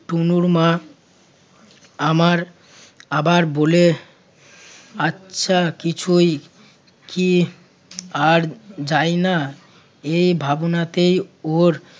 তনুর মা আমার আবার বলে আচ্ছা কিছুই কি আর যায় না এই ভাবনাতে ওর